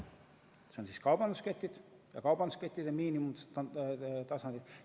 See on kaubandusketid ja kaubanduskettide miinimumtasandid.